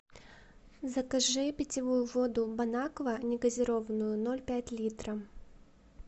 закажи питьевую воду бонаква негазированную ноль пять литра